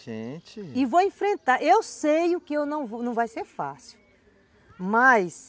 Gente... E vou enfrentar, eu sei que não vai ser fácil, mas...